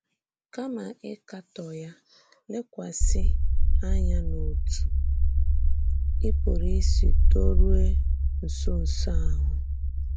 Kàma ịkàtò ya, lèkwàsị ànyà n’òtú ì pụrụ ísì dòrùè nsònsò ahụ.